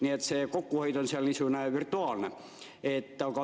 Nii et see kokkuhoid on seal niisugune virtuaalne.